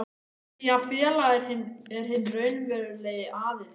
því að félagið er hinn raunverulegi aðili.